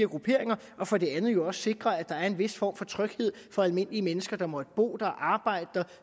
grupperinger og for det andet jo også sikre at der er en vis form for tryghed for almindelige mennesker der måtte bo der arbejde der